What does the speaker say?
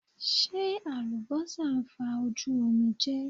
Ṣe alubosa fa oju omije